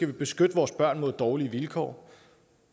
vi beskytte vores børn mod dårlige vilkår